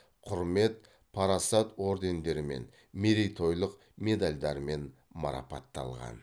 құрмет парасат ордендерімен мерейтойлық медальдармен марапатталған